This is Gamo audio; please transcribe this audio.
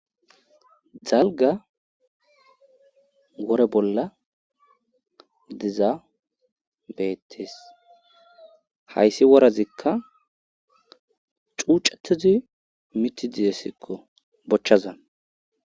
Dalga wore bolla diza beettes hayssi worazikka cuucatizi miti dizessikko bochchaza.